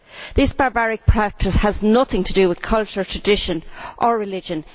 This barbaric practice has nothing to do with culture, tradition or religion